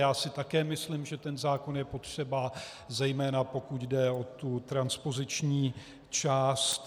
Já si také myslím, že ten zákon je potřeba, zejména pokud jde o tu transpoziční část.